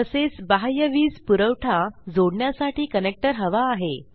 तसेच बाह्य वीज पुरवठा जोडण्यासाठी कनेक्टर हवा आहे